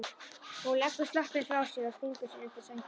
Hún leggur sloppinn frá sér og stingur sér undir sængina.